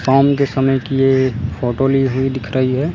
शाम की समय की ये फोटो ली हुई दिख रही है।